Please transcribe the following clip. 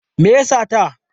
Me ya sata?